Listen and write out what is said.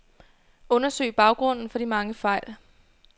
Undersøg baggrunden for de mange fejl.